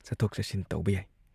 ꯆꯠꯊꯣꯛ ꯆꯠꯁꯤꯟ ꯇꯧꯕ ꯌꯥꯏ ꯫